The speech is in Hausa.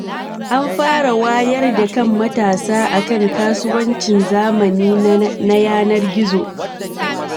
An fara wayar da kan matsa akan kasuwancin zamani na yanar gizo.